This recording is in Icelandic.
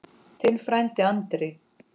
Þinn frændi Andri.